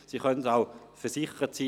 Sie können versichert sein: